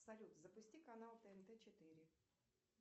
салют запусти канал тнт четыре